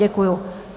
Děkuji.